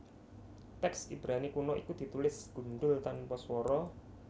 Tèks Ibrani kuna iku ditulis gundhul tanpa swara